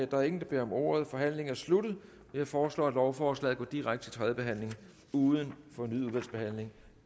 der er ingen der beder om ordet så forhandlingen er sluttet jeg foreslår at lovforslaget går direkte til tredje behandling uden fornyet udvalgsbehandling